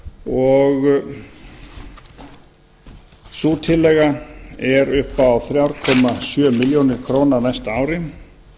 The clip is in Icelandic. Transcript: m minjavörslunar sú tillaga er upp á þremur sjö milljónir króna á næsta ári